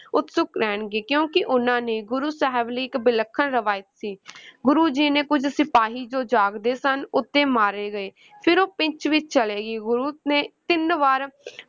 ਉਤਸੁਕ ਰਹਿਣਗੇ ਕਿਉਂਕਿ ਉਨ੍ਹਾਂ ਨੇ ਗੁਰੂ ਸਾਹਿਬ ਲਈ ਇੱਕ ਵਿਲੱਖਣ ਰਵਾਇਤੀ ਗੁਰੂ ਜੀ ਨੇ ਕੁੱਝ ਸਿਪਾਹੀ ਜੋ ਜਾਗਦੇ ਸਨ ਉੱਤੇ ਮਾਰੇ ਗਏ ਫਿਰ ਉਹ ਪਿੱਚ ਵਿਚ ਚਲੇ ਗਏ, ਗੁਰੂ ਨੇ ਤਿੰਨ ਵਾਰ